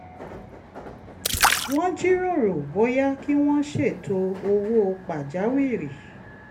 wọ́n jíròrò bóyá kí wọ́n ṣètò owó pàjáwìrì